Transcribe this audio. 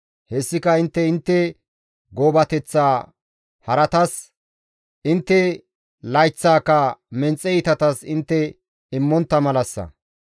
Hessika intte intte goobateththa haratas, intte layththaaka menxe iitatas intte immontta malassa.